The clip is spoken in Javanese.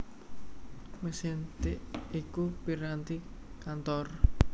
Mesin tik iku piranti kantor